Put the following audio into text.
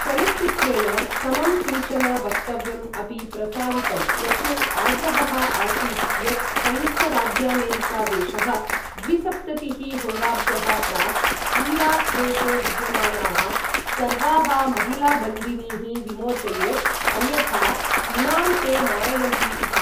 चलच्चित्रेण समं किञ्चन वक्तव्यम् अपि प्रसारितं यस्मिन् आग्रहः आसीत् यत् संयुक्तराज्यामेरिकादेशः द्विसप्ततिः होराभ्यः प्राक् इराक् देशे विद्यमानाः सर्वाः महिलाबन्दिनीः विमोचयेत्, अन्यथा इमां ते मारयन्ति इति।